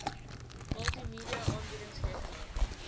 multimedia aanbiedings rekenaar